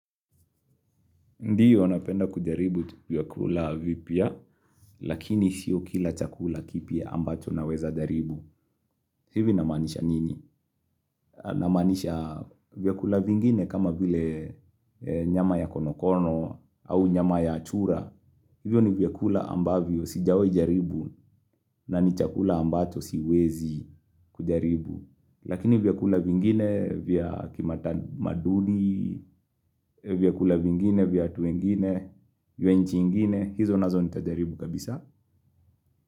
Ndiyo, napenda kujaribu tuvyakula vipia, lakini siyo kila chakula kipia ambacho naweza jaribu. Hivi namanisha nini? Namanisha vyakula vingine kama vile nyama ya konokono au nyama ya chura. Hivyo ni vyakula ambavyo sijawi jaribu na ni chakula ambacho siwezi kujaribu. Lakini vyakula vingine, vyakimata maduli, vyakula vingine, vyatu wengine, yuenchi ingine, hizo nazo nitadaribu kabisa.